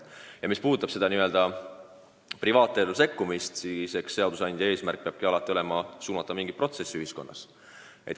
Mis puudutab privaatellu sekkumist, siis eks seadusandja eesmärk peabki alati olema suunata mingit protsessi ühiskonnas.